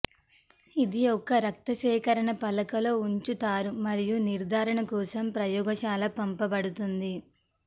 ఇది ఒక రక్త సేకరణ పలక లో ఉంచుతారు మరియు నిర్ధారణ కోసం ప్రయోగశాల పంపబడుతుంది